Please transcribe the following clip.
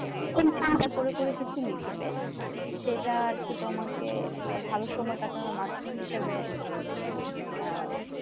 চিন্তা করে করে কিছু লিখবে সেটা আর কি তোমাকে একটা ভালো সময় কাটাবার মাধ্যম হিসেবে আহ